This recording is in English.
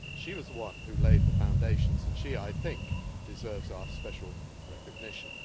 She was the one who laid the foundations, and she, I think, deserves our special recognition.